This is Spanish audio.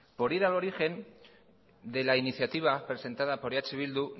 por ir al origen de la iniciativa presentada por eh bildu